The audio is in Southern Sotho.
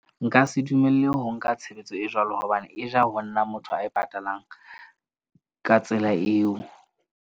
Nka se dumelle ho nka tshebetso e jwalo. Hobane e ja ho nna motho ae patalang ka tsela eo.